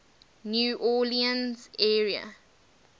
new orleans area